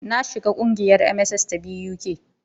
Na jona ƙungiyar MSS ta BUK.